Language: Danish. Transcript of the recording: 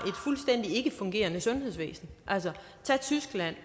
fuldstændig ikkefungerende sundhedsvæsen altså tag tyskland